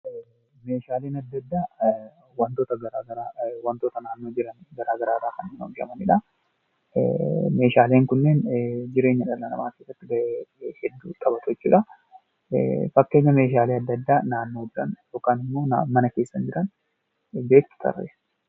Meeshaaleen addaa addaa waantota garaagaraa naannoo jiran irraa garaagaraa irraa kan oomishamanidha. Meeshaaleen kunneen jireenya dhala namaaf hedduu qabatu jechuudha. Fakkeenya Meeshaalee addaa addaa naannoo jiran yookaan mana keessa jiran .